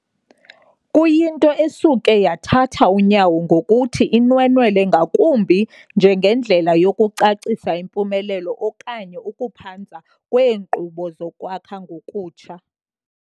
kuyinto esuke yathatha unyawo ngokuthi inwenwele ngakumbi njengendlela yokucacisa impumelelo okanye ukuphanza kweenkqubo zokwakha ngokutsha.